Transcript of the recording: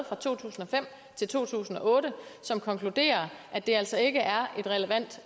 fra to tusind og fem til to tusind og otte og som konkluderede at det altså ikke er et relevant